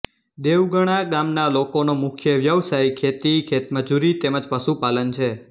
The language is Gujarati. દેવગણા ગામના લોકોનો મુખ્ય વ્યવસાય ખેતી ખેતમજૂરી તેમ જ પશુપાલન છે